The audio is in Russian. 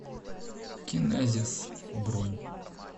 кинезис бронь